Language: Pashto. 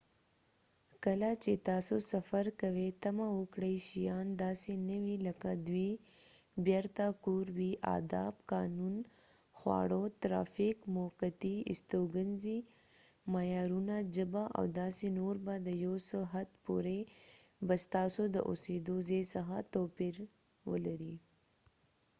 کله چې تاسو سفر کوئ تمه وکړئ شیان داسې نه وي لکه دوی بیرته کور وي آداب قانون خواړه ترافیک موقتی استوګنځی معیارونه ژبه او داسې نور به د یو څه حد پورې به ستاسو د اوسیدو ځای څخه توپیر ولرئ